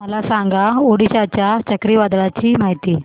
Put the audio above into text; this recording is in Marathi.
मला सांगा ओडिशा च्या चक्रीवादळाची माहिती